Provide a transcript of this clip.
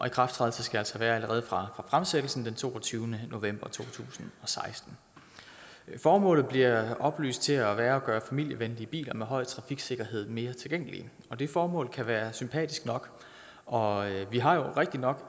ikrafttrædelsen skal være allerede fra fremsættelsen den toogtyvende november to tusind og seksten formålet bliver oplyst til at være at gøre familievenlige biler med høj trafiksikkerhed mere tilgængelige det formål kan være sympatisk nok og vi har jo rigtig nok